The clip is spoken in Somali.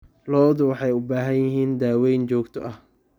Lo'du waxay u baahan yihiin daaweyn joogto ah.